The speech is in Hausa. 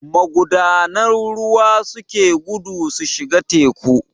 Magudanan ruwa suke gudu su shiga teku